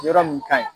Yɔrɔ mun ka ɲi